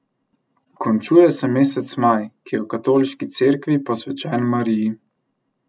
Končuje se mesec maj, ki je v katoliški Cerkvi posvečen Mariji.